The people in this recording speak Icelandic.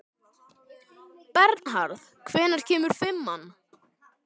Bernharð, hvenær kemur fimman?